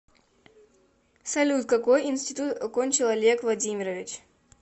салют какой интситут окончил олег владимирович